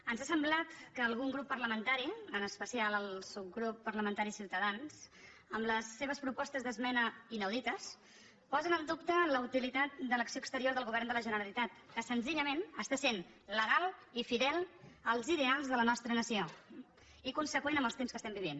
ens ha semblat que algun grup parlamentari en especial el subgrup parlamentari ciutadans amb les seves propostes d’esmena inaudites posen en dubte la utilitat de l’acció exterior del govern de la generalitat que senzillament està sent legal i fidel als ideals de la nostra nació i conseqüent amb els temps que estem vivint